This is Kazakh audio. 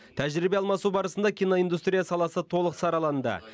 тәжірибе алмасу барысында киноиндустрия саласы толық сараланды